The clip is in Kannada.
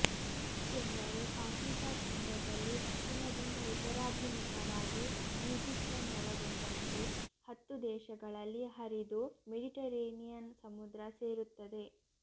ಏಕೆಂದರೆ ಆಫ್ರಿಕಾ ಖಂಡದಲ್ಲಿ ದಕ್ಷಿಣದಿಂದ ಉತ್ತರಾಭಿಮುಖವಾಗಿ ಇಜಿಪ್ತನ್ನೊಳಗೊಂಡಂತೆ ಹತ್ತು ದೇಶಗಳಲ್ಲಿ ಹರಿದು ಮೆಡಿಟರೆನಿಯನ್ ಸಮುದ್ರ ಸೇರುತ್ತದೆ